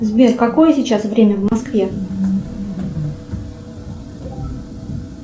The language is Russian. сбер какое сейчас время в москве